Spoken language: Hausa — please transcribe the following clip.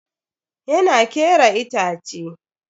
Yana kera itace.